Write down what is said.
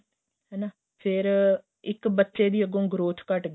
ਹੈਨਾ ਫ਼ੇਰ ਇੱਕ ਬੱਚੇ ਦੀ ਅੱਗੋ growth ਘੱਟ ਗਈ